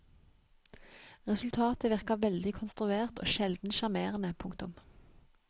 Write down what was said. Resultatet virker veldig konstruert og sjelden sjarmerende. punktum